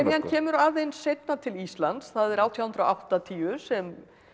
kemur aðeins seinna til Íslands það er átján hundruð og áttatíu sem